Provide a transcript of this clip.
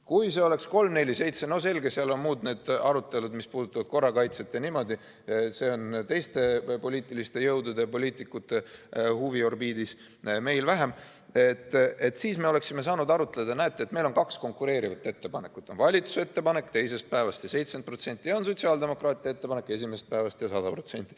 Kui see oleks 347 – no selge, seal on muud arutelud, mis puudutavad korrakaitset ja muud, see on teiste poliitiliste jõudude ja poliitikute huviorbiidis, meil vähem –, siis me oleksime saanud arutleda: näete, meil on kaks konkureerivat ettepanekut, on valitsuse ettepanek, teisest päevast ja 70%, ja on sotsiaaldemokraatide ettepanek, esimesest päevast ja 100%.